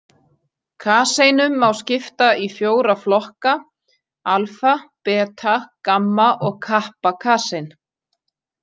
Kaseinum má skipta í fjóra flokka, alfa-, beta-, gamma- og kappa-kasein.